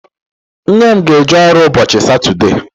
Nne m ga-eje ọrụ ụbọchị Satọdee.